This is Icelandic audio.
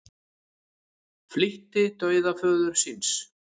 Flýtti dauða föður síns